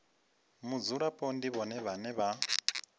mudzulapo ndi vhone vhane vha